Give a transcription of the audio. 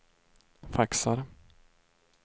faxar